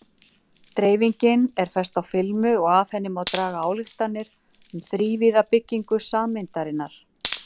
Dreifingin er fest á filmu og af henni má draga ályktanir um þrívíða byggingu sameindarinnar.